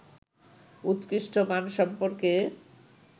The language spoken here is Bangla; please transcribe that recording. উৎকৃষ্ট মান সম্পর্কে